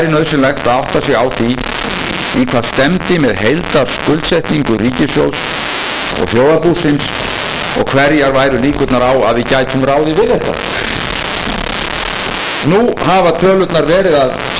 er auðvitað það að íslenska ríkið og íslenska þjóðarbúið verða ef allt þetta gengur eftir svo þunglestuð skuldum að hagfræðingar glíma nú helst við það að